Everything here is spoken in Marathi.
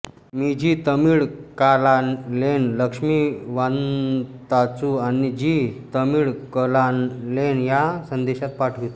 मी झी तमिळकानालेन लक्ष्मी वांताचू आणि झी तमिळकनालेन या संदेशास पाठवितो